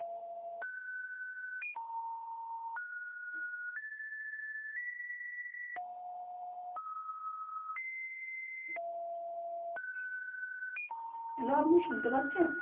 hello আপনি শুনতে পারছেন